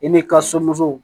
I n'i ka somuso